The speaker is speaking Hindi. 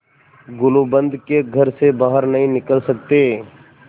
गुलूबंद के घर से बाहर नहीं निकल सकते